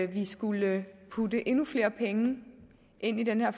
vi skulle putte endnu flere penge ind i den her